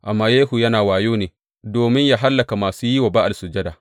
Amma Yehu yana wayo ne domin yă hallaka masu yi wa Ba’al sujada.